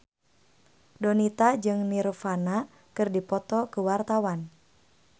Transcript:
Donita jeung Nirvana keur dipoto ku wartawan